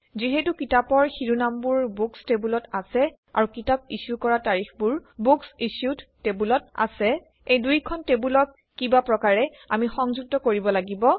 যিহেতু কিতাপৰ শিৰোনামবোৰ বুকচ্ টেবুলত আছে আৰু কিতাপ ইছ্যু কৰা তাৰিখবোৰ বুকচ্ইছ্যুড্ টেবুলত আছে এই দুইখন টেবুলক কিবাপ্ৰকাৰে আমি সংযুক্ত কৰিব লাগিব